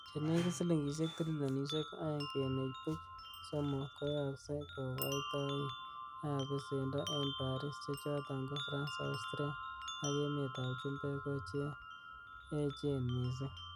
Chenekit silingisiek trilionisiek oeng kenuch buch somok, koyokse kokoitoik ab besendo en Paris, chechoton ko France, Austria ak emetab chumbek ko che echen missing.